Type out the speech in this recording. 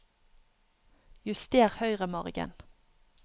Juster høyremargen